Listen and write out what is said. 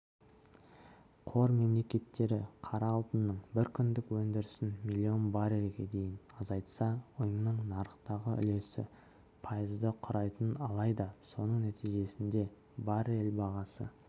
қор мемлекеттері қара алтынның бір күндік өндірісін миллион баррельге дейін азайтса ұйымның нарықтағы үлесі пайызды құрайтынын алайда соның нәтижесінде баррель бағасы